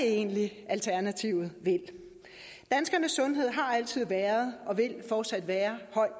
egentlig alternativet vil danskernes sundhed har altid været og vil fortsat være